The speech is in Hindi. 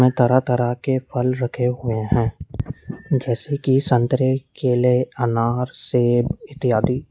तरह तरह के फल रखें हुए हैं जैसे कि संतरे केले अनार सेब इत्यादि।